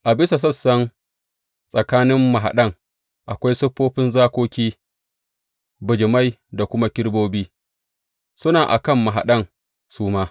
A bisa sassan tsakanin mahaɗan, akwai siffofin zakoki, bijimai da kuma kerubobi, suna a kan mahaɗan su ma.